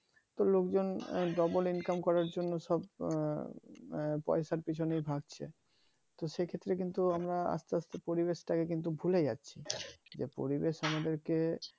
তো লোকজন double income করার জন্য সব পয়সার পেছনে ভাগছে তো সে ক্ষেত্রে কিন্তু আমরা আস্তে আস্তে পরিবেশটাকে কিন্তু ভুলে যাচ্ছি যে পরিবেশ আমাদের কে